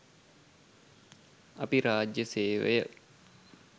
අපි රාජ්‍ය සේවය